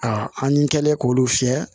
A an ni kɛlen k'olu fiyɛ